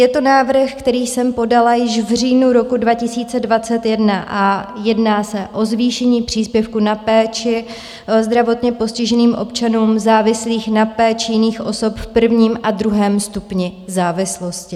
Je to návrh, který jsem podala již v říjnu roku 2021, a jedná se o zvýšení příspěvku na péči zdravotně postiženým občanům závislým na péči jiných osob v prvním a druhém stupni závislosti.